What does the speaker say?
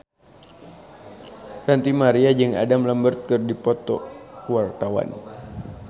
Ranty Maria jeung Adam Lambert keur dipoto ku wartawan